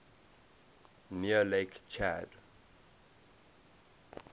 near lake chad